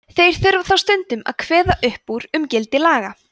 þeir þurfa þó stundum að kveða upp úr um gildi laga